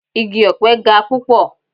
Igi ọ̀pe ga púpọ̀.